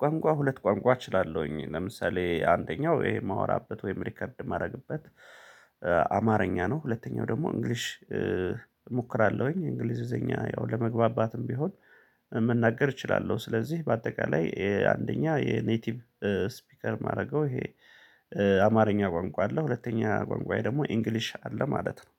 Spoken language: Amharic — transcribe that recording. ቋንቋ ሁለት ቋንቋ እችላለሁኝ ለምሳሌ አንደኛው እሄ ማወራበት ወይም ሪከርድ ማረግበት። አማርኛ ነው ሁለተኛው ደግሞ እንግሊዝ እሞክራለሁኝ አለውኝ እንግሊዘኛ ያው ለመግባባትም ቢሆን መናገር እችላለሁ። ስለዚህ በአጠቃላይ አንደኛ የኔቲቭ ስፒከር ማረገው። ይሄ አማርኛ ቋንቋ አለ ሁለተኛ ቋንቋየ ደግሞ ኢንግሊዝ አለ ማለት ነው